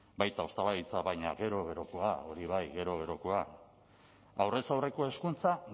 baita hostalaritza baina gero gerokoak hori bai gero gerokoak aurrez aurreko hezkuntza